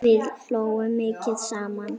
Við hlógum mikið saman.